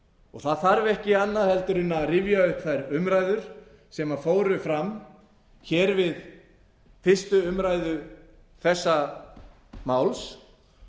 það það þarf ekki annað en að rifja upp þær umræður sem fóru fram hér við fyrstu umræðu þessa máls